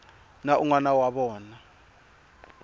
na un wana wa vona